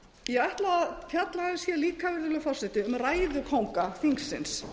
ætla að fjalla líka virðulegi forseti um ræðukónga þingsins